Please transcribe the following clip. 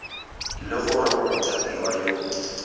le gore o mothapiwa yo